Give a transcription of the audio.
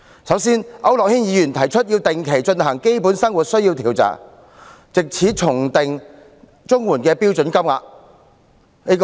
首先，區諾軒議員提出定期進行基本生活需要研究，藉此重訂綜援的標準金額。